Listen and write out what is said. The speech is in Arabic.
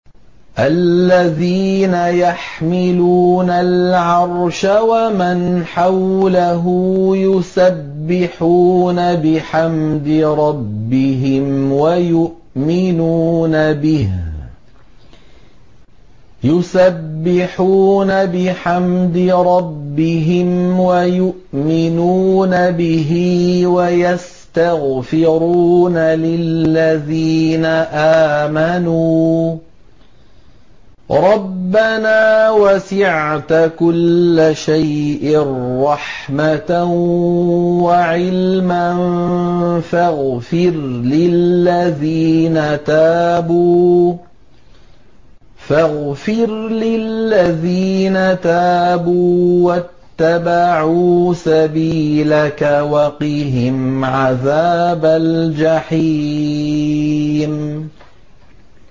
الَّذِينَ يَحْمِلُونَ الْعَرْشَ وَمَنْ حَوْلَهُ يُسَبِّحُونَ بِحَمْدِ رَبِّهِمْ وَيُؤْمِنُونَ بِهِ وَيَسْتَغْفِرُونَ لِلَّذِينَ آمَنُوا رَبَّنَا وَسِعْتَ كُلَّ شَيْءٍ رَّحْمَةً وَعِلْمًا فَاغْفِرْ لِلَّذِينَ تَابُوا وَاتَّبَعُوا سَبِيلَكَ وَقِهِمْ عَذَابَ الْجَحِيمِ